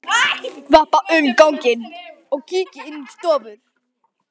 Vappa um ganginn og kíki inn í stofur.